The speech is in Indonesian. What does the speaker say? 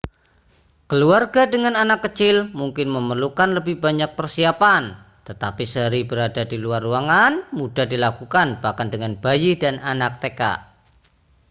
keluarga dengan anak kecil mungkin memerlukan lebih banyak persiapan tetapi sehari berada di luar ruangan mudah dilakukan bahkan dengan bayi dan anak tk